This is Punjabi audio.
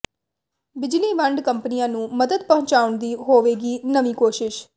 ਬਿਜਲੀ ਵੰਡ ਕੰਪਨੀਆਂ ਨੂੰ ਮਦਦ ਪਹੁੰਚਾਉਣ ਦੀ ਹੋਵੇਗੀ ਨਵੀਂ ਕੋਸ਼ਿਸ਼